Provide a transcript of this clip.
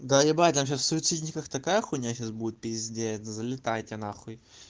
да ебать там сейчас в суицидниках такая хуйня сейчас будет залетайте на хуй